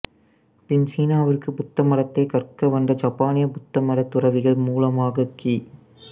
பின் சீனாவிற்கு புத்த மதத்தைக் கற்க வந்த ஜப்பானிய புத்தமதத் துறவிகள் மூலமாக கி